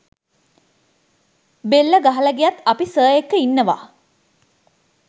බෙල්ල ගහල ගියත් අපි සර් එක්ක ඉන්නවා